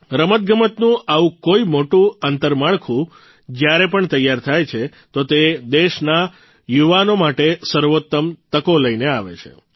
રમતગમતનું આવું કોઇ મોટું આંતરમાળખું જયારે પણ તૈયાર થાય છે તો તે દેશના યુનાવો માટે સર્વોત્તમ તકો લઇને આવે છે